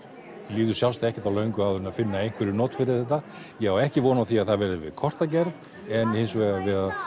líður sjálfsagt ekkert á löngu áður en finna einhver not fyrir þetta ég á ekki von á því að það verði við kortagerð en hins vegar við